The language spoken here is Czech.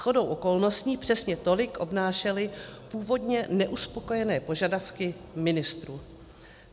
Shodou okolností přesně tolik obnášely původně neuspokojené požadavky ministrů.